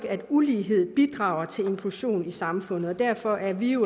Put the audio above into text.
at ulighed bidrager til inklusion i samfundet og derfor er vi